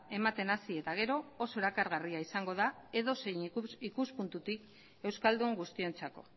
ematen hasi eta gero oso erakargarria izango da edozein ikuspuntutik euskaldun guztientzako